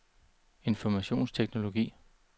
informationsteknologi